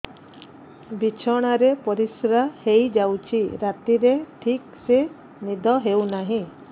ବିଛଣା ରେ ପରିଶ୍ରା ହେଇ ଯାଉଛି ରାତିରେ ଠିକ ସେ ନିଦ ହେଉନାହିଁ